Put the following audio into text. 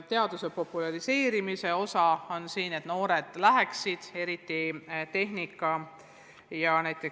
Teaduse populariseerimine on tähtis, et noored läheksid õppima, eriti tehnikaerialasid.